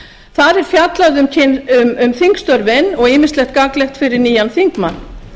þar er fjallað um þingstörfin og ýmislegt gagnlegt fyrir nýjan þingmann